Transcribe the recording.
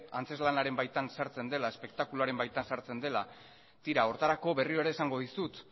antzezlanaren baitan sartzen dela espektakuluaren baitan sartzen dela tira horretarako berriro ere esango dizut